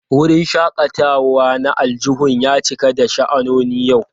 Wurin shakatawa na aljihun ya cika da sha'anoni yau.